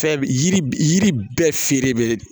Fɛn yiri yiri bɛɛ feere bɛ